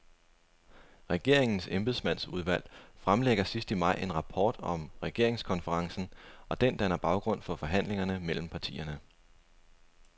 Regeringens embedsmandsudvalg fremlægger sidst i maj en rapport om regeringskonferencen, og den danner baggrund for forhandlingerne mellem partierne.